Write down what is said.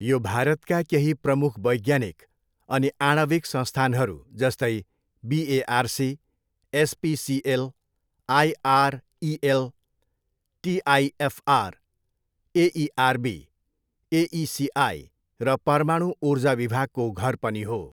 यो भारतका केही प्रमुख वैज्ञानिक अनि आणविक संस्थानहरू, जस्तै, BARC, SPCL, IREL, TIFR, AERB, AECI र परमाणु ऊर्जा विभागको घर पनि हो।